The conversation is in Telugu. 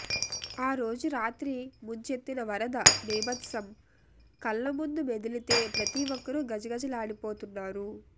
ఆరోజు రాత్రి ముుంచెత్తిన వరద భీభత్సం కళ్ల ముందు మెదిలితే ప్రతిఒక్కరూ గజగజలాడిపోతున్నారు